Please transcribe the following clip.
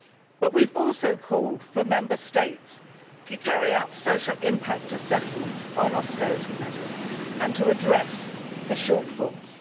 But we have also called for Member States to carry out social impact assessments on austerity measures and to address the shortfalls.